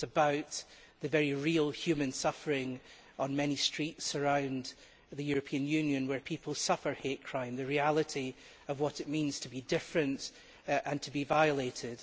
It was about the very real human suffering on many streets around the European Union where people suffer hate crime the reality of what it means to be different and to be violated.